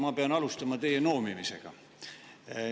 Ma pean alustama teie noomimisega.